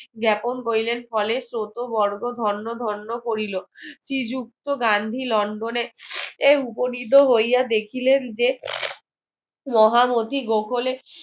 জ্ঞাপন করিলেন ফলে ছোট বর্গ ধন্য ধন্য করিল শ্রীযুক্ত গান্ধী লন্ডনে এই উপনীত হইয়া দেখিলেন যে মহান